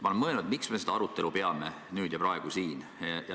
Ma olen mõelnud, miks me seda arutelu siin peame nüüd ja praegu.